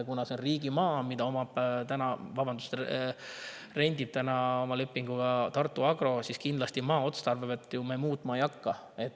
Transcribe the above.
Kuna see on riigimaa, mida rendib täna lepinguga Tartu Agro, siis maa otstarvet me kindlasti muutma ei hakka.